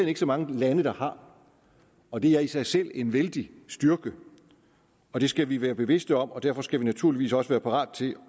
ikke så mange lande der har og det er i sig selv en vældig styrke og det skal vi være bevidste om og derfor skal vi naturligvis også være parate til